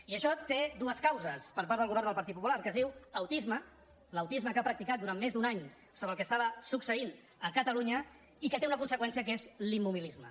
i això té dues causes per part del govern del partit popular que es diu autisme l’autisme que ha practicat durant més d’un any sobre el que succeïa a catalunya i que té una conseqüència que és l’immobilisme